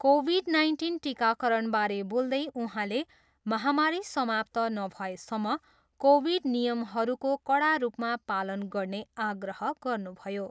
Covid nineteen टिकाकरणबारे बोल्दै उहाँले महामारी समाप्त नभएसम्म कोभिड नियमहरूको कडा रूपमा पालन गर्ने आग्रह गर्नुभयो।